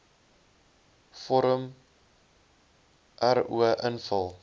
vorm ro invul